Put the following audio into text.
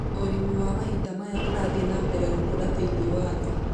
Ũrĩmi wa mahinda maya ũrathiĩ na mbere gũkũra thĩinĩ wa thĩ.